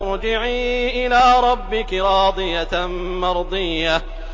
ارْجِعِي إِلَىٰ رَبِّكِ رَاضِيَةً مَّرْضِيَّةً